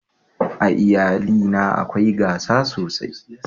a iyali na akwai gasa sosai